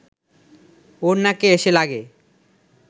ওর নাকে এসে লাগে